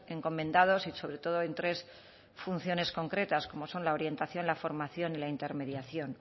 encomendados y sobre todo en tres funciones concretas como son la orientación la formación y la intermediación